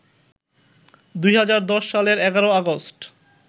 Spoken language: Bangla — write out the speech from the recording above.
২০১০ সালের ১১ অগাস্ট